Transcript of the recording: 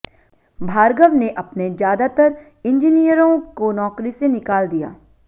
भार्गव ने अपने ज्यादातर इंजीनियरों को नौकरी से निकाल दिया